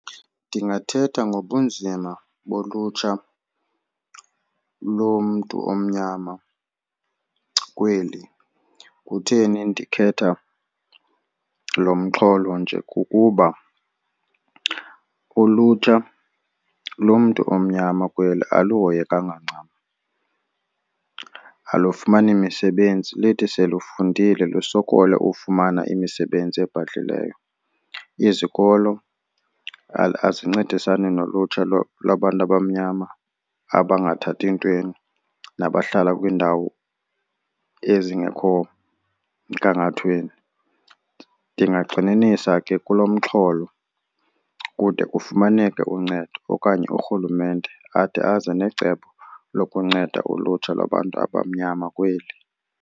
Ndingathetha ngobunzima bolutsha lomntu omnyama kweli. Kutheni ndikhetha lo mxholo nje? Kukuba ulutsha lomntu omnyama kweli aluhoyekanga ncam, alufumani misebenzi lithi selifundile lusokole ufumana imisebenzi ebhadlileyo. Izikolo azincedisani nolutsha lwabantu abamnyama abangathathi ntweni nabahlala kwiindawo ezingekho mgangathweni. Ndingagxininisa ke kulo mxholo kude kufumaneke uncedo okanye uRhulumente ade aze necebo lokunceda ulutsha lwabantu abamnyama kweli.